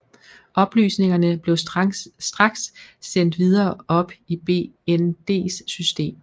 Oplysningerne blev straks sendt videre op i BNDs system